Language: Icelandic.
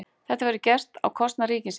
Þetta verður gert á kostnað ríkisins